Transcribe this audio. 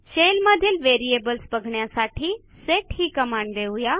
shell मधीलVariables बघण्यासाठी set ही कमांड देऊ या